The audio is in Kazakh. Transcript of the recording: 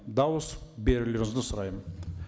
дауыс берулеріңізді сұраймын